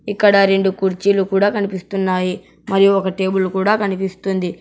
ఇక్కడ రెండు కుర్చీలు కూడా కనిపిస్తున్నాయి మరియు ఒక టేబుల్ కూడా కనిపిస్తుంది.